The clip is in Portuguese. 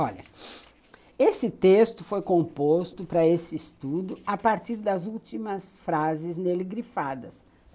Olha, esse texto foi composto para esse estudo a partir das últimas frases nele grifadas.